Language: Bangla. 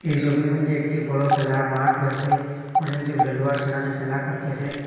এই ছবির মইধ্যে একটি বড়ো খেলার মাঠ রয়েছে অনেকজন খেলোয়াড় সেখানে খেলা করতেসেন।